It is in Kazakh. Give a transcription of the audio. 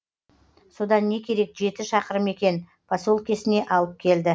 содан не керек жеті шақырым екен поселкесіне алып келді